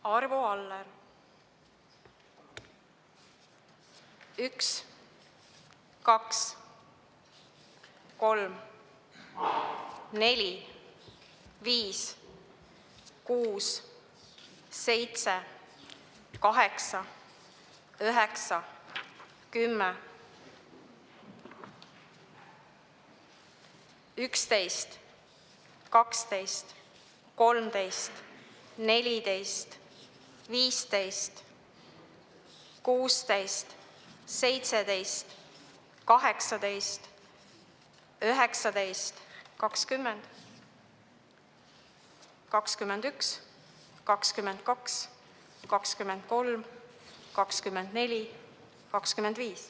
Arvo Aller: 1, 2, 3, 4, 5, 6, 7, 8, 9, 10, 11, 12, 13, 14, 15, 16, 17, 18, 19, 20, 21, 22, 23, 24, 25.